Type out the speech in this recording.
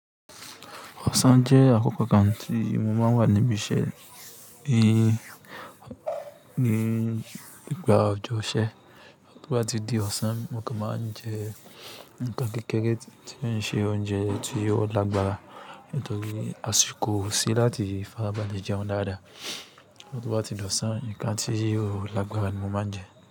Ọ̀sán jẹ́ àkókò kan tí mo máa ń wà níbi iṣẹ́ i ni ígbà ọjọ́ ìṣẹ́. To bà tí di ọ̀sán mo kò máa ń jẹ nnkan kékeré tí o n ṣe oúnjẹ tí yóò lágbára nítorí àsìkò o sí láti fàrábalẹ jẹun dáadáa. To ba tí di ọ̀sán, nnkan tí ò lágbára ni mo máa ń jẹ.